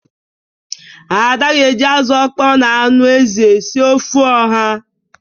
Ada ga-eji azụ ọkpọọ na anụ ezi sie ofe ọha.